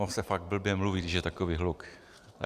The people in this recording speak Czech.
Ono se fakt blbě mluví, když je takový hluk.